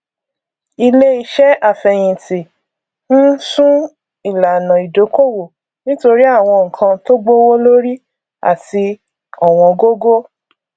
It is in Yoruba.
iléiṣẹ àfẹyìntì n sún ìlànà ìdókòwò nítorí àwọn nnkan tó gbówó lórí àti ọwọngógó